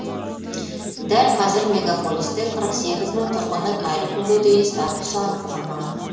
дәл қазір мегаполисте қырық сегіз мың тұрғынның әлі күнге дейін статусы анықталмаған